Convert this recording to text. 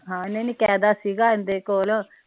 ਹਾਂ ਨਹੀਂ ਨਹੀਂ ਕੈਦਾ ਸੀ ਗਾ ਏਦੇ ਕੋਲ